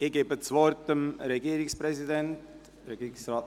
Ich erteile dem Regierungspräsidenten das Wort.